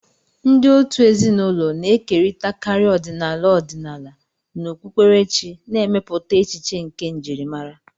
Ndị òtù ezinụlọ na-ekerịtakarị ọdịnala ọdịnala na okpukperechi, na-emepụta echiche nke njirimara